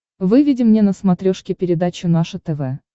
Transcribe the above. выведи мне на смотрешке передачу наше тв